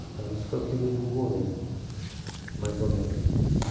Então, esse foi o período do governo, mais ou menos isso.